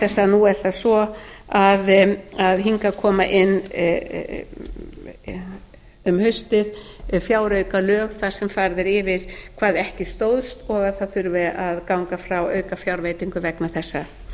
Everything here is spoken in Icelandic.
i stað þess að nú er það svo að hingað koma inn um haustið fjáraukalög þar sem farið er eftir hvað ekki stóðst og að það þurfi að ganga frá aukafjárveitingum vegna þessa